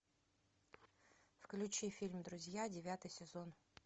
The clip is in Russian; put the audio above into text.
включи фильм друзья девятый сезон